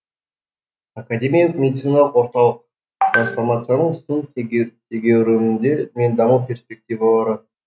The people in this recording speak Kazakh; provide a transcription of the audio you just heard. академиялық медициналық орталық трансформацияның сын тегеу тегеуріндері мен даму перспективалары